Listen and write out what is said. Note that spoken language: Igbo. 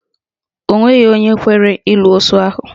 Onweghi onwe kwere ịlụ osu ahụ